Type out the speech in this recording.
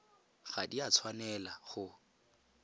ga di a tshwanela go